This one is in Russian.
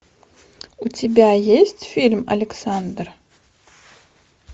у тебя есть фильм александр